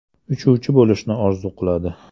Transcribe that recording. Uchuvchi bo‘lishni orzu qiladi.